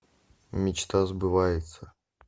мечта сбывается